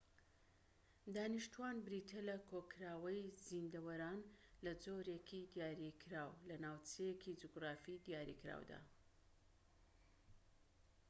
دانیشتوان بریتیە لە کۆکراوەی زیندەوەران لە جۆرێکی دیاریکراو لە ناوچەیەکی جوگرافی دیاریکراودا